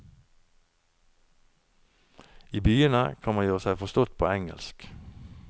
I byene kan man gjøre seg forstått på engelsk.